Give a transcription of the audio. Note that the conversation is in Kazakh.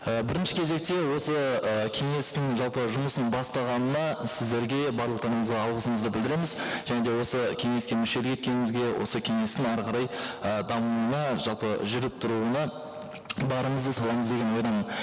і бірінші кезекте осы ыыы кеңестің жалпы жұмысын бастағанына сіздерге барлықтарыңызға алғысымызды білдіреміз және де осы кеңеске мүшелі еткенімізге осы кеңестің әрі қарай і дамуына жалпы жүріп тұруына барымызды саламыз деген ойдамын